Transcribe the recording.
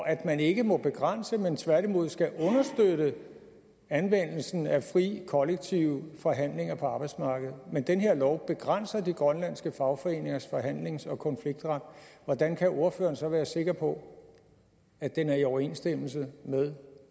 at man ikke må begrænse men tværtimod skal understøtte anvendelsen af fri kollektive forhandlinger på arbejdsmarkedet men den her lov begrænser de grønlandske fagforeningers forhandlings og konfliktret hvordan kan ordføreren så være sikker på at den er i overensstemmelse med